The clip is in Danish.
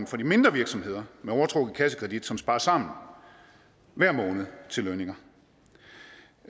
for de mindre virksomheder med overtrukket kassekredit som sparer sammen til lønninger